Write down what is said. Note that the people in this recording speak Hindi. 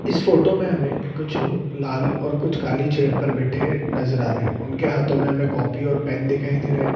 इस फोटो में हमें कुछ लोग लाल और कुछ काली चेयर पे बैठे नजर आ रहे हैं उनके हाथों में हमें कॉपी और पेन दिखाई दे रहे हैं।